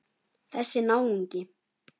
Þessi náungi.